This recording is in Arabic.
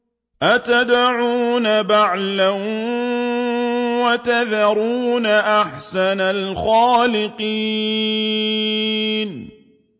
أَتَدْعُونَ بَعْلًا وَتَذَرُونَ أَحْسَنَ الْخَالِقِينَ